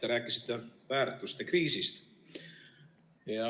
Te rääkisite väärtuste kriisist.